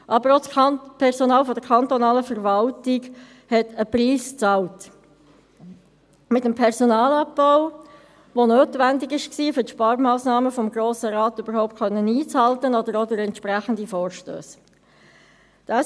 Aber auch das Personal der kantonalen Verwaltung hat einen Preis bezahlt, mit dem Personalabbau, der notwendig war, um für die Sparmassnahmen des Grossen Rates überhaupt einzuhalten, oder durch entsprechende Vorstösse.